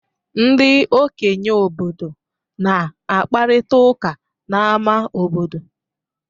Ndị okenye obodo na-akparịta ụka n'ámá obodo.